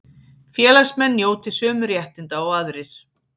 Félagsmenn njóti sömu réttinda og aðrir